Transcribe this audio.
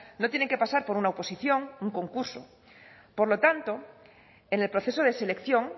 no tienen que pasar por una oposición o un concurso por lo tanto en el proceso de selección